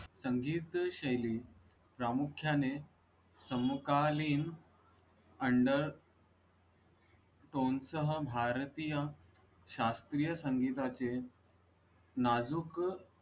संगीतशैली प्रामुख्याने समकालीन under भारतीय शास्त्रीय संगीता चे नाजुक.